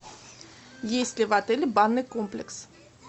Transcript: есть ли в отеле банный комплекс